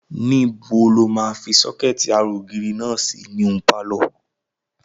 Níbo lo máa fi sọ́kẹ̀tì ara ògiri náà sínú pálọ̀?